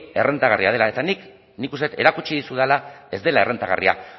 errentagarria dela eta nik uste dut erakutsi dizudala ez dela errentagarria